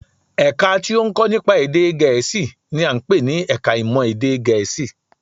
Ẹ̀ka tí ó ń kọ́ nípa èdè Gẹ̀ẹ́sì n i à ń pè ní ẹka ìmọ̀ èdè Gẹ̀ẹ́sì